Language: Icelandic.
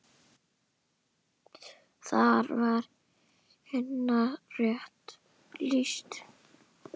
Þar var Hinna rétt lýst.